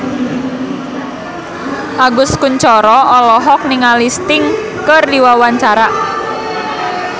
Agus Kuncoro olohok ningali Sting keur diwawancara